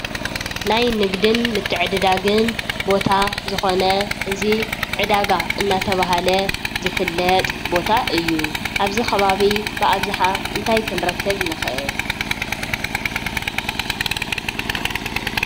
ናይ ንግድን ምትዕድዳግን ቦታ ዝኮነ እዚ ዕዳጋ እንዳተባህለ ዝፍለጥ ቦታ እዩ። ኣብዚ ከባቢ ብኣብዝሓ እንታይ ክንረክብ ንክእል?